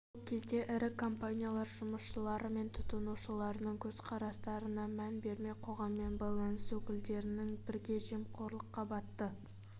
сол кезде ірі компаниялар жұмысшылары мен тұтынушыларының көзқарастарына мән бермей қоғаммен байланыс өкілдерімен бірге жемқорлыққа батты